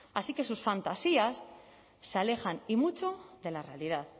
así que sus fantasías se alejan y mucho de la realidad